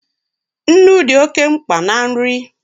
Nnu dị oke mkpa na nri